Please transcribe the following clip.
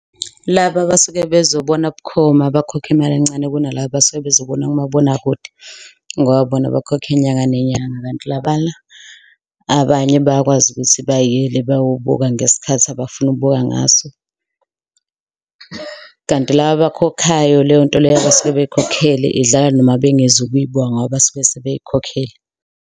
Laba abasuke bezobona bukhoma bakhokhe imali encane kuna laba abasuke bezobona kumabonakude ngoba bona bakhokha inyanga nenyanga kanti labana. Abanye bayakwazi ukuthi bayele bayobuka ngesikhathi abafuna ukubuka ngaso. Kanti laba abakhokhayo leyonto leyo abasuke beyikhokhele idlala noma bengezo kuyibuka ngoba basuke sebeyikhokhele.